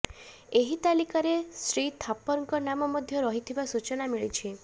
ଏହି ତାଲିକାରେ ଶ୍ରୀ ଥାପରଙ୍କ ନାମ ମଧ୍ୟ ରହିଥିବା ସୂଚନା ମିଳିଛି